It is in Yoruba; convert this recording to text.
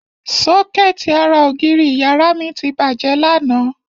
Sọ́kẹ́ẹ̀tì ara ògiri ìyàrá mi ti bàjẹ́ lánàá.